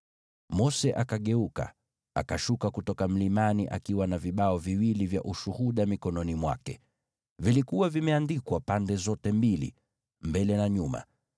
Mose akageuka, akashuka kutoka mlimani akiwa na vibao viwili vya Ushuhuda mikononi mwake. Vilikuwa vimeandikwa pande zote mbili, mbele na nyuma.